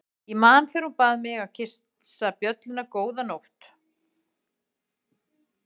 Ég man þegar hún bað mig að kyssa bjölluna góða nótt.